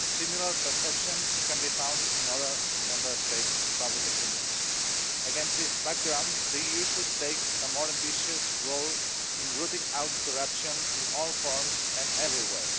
Similar perceptions can be found in other Member States' public opinions. Against this background, the EU should take a more ambitious role in rooting out corruption in all forms and everywhere.